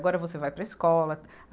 Agora você vai para a escola.